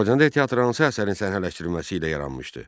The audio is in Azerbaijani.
Azərbaycanda teatr hansı əsərin səhnələşdirilməsi ilə yaranmışdı?